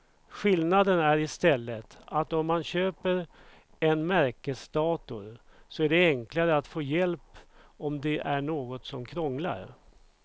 Skillnaden är i stället att om man köper en märkesdator så är det enklare att få hjälp om det är något som krånglar.